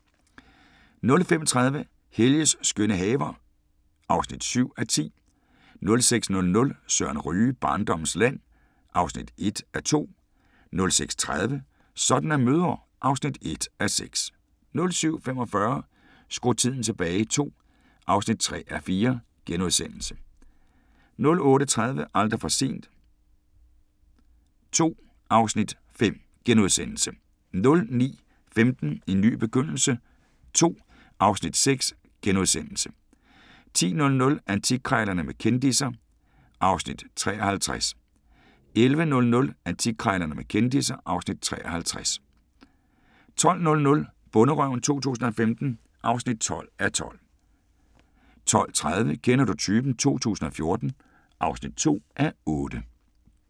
05:30: Helges skønne haver (7:10) 06:00: Søren Ryge: Barndommens land (1:2) 06:30: Sådan er mødre (1:6) 07:45: Skru tiden tilbage II (3:4)* 08:30: Aldrig for sent II (Afs. 5)* 09:15: En ny begyndelse II (Afs. 6)* 10:00: Antikkrejlerne med kendisser (Afs. 53) 11:00: Antikkrejlerne med kendisser (Afs. 53) 12:00: Bonderøven 2015 (12:12) 12:30: Kender du typen 2014 (2:8)